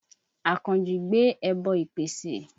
Àkànjí gbé ẹbọ ìpesè.